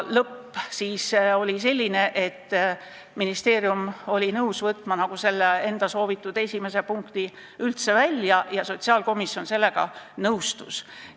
Lõpp oli selline, et ministeerium oli nõus võtma selle enda esimese ettepaneku üldse välja ja sotsiaalkomisjon sellega nõustus.